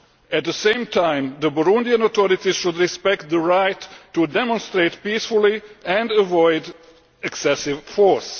At the same time the Burundian authorities should respect the right to demonstrate peacefully and avoid excessive force.